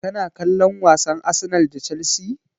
Kana kallon wasan Arsenal da Chelsea?